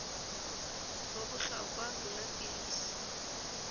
ho bohlokwa ho nwa dipilisi